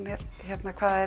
er